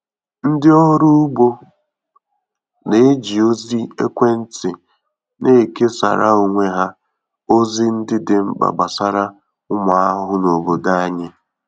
Ndị ọrụ ugbo na-eji ozi ekwentị nekesara onwe ha ozi ndị dị mkpa gbasara ụmụ ahụhụ na obodo anyị.